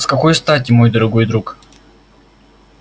с какой стати мой дорогой друг